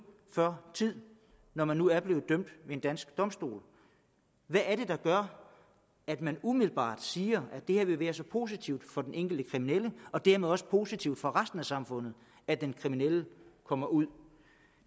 før tid når man nu er blevet dømt ved en dansk domstol hvad er det der gør at man umiddelbart siger at det vil være så positivt for den enkelte kriminelle og dermed også positivt for resten af samfundet at den kriminelle kommer ud